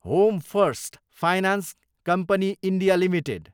home first finance company India Ltd